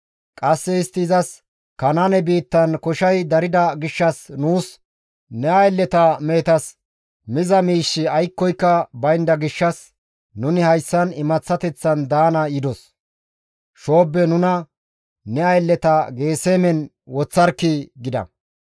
Qasse istti izas, «Kanaane biittan koshay darida gishshas nuus ne aylleta mehetas miza miishshi aykkoka baynda gishshas, nuni hayssan imaththateththan daana yidos; shoobbe nuna ne aylleta Geesemen woththarkkii!» gida.